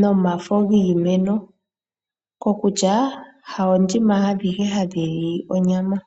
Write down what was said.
nomafo giimeno, kokutya oondjima adhihe ihadhi li onyama.